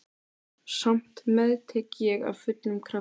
Samt meðtek ég af fullum krafti.